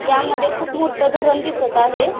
यामध्ये खुप मोठ धरण दिसत आहे.